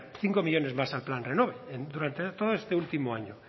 cinco millónes más al plan renove durante todo este último año